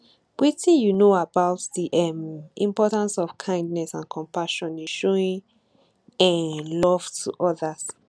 wetin you know about di um importance of kindness and compassion in showing um love to odas